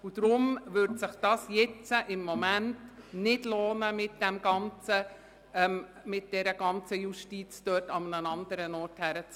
Deshalb würde es sich im Moment nicht lohnen, mit der ganzen Justiz an einen anderen Ort zu ziehen.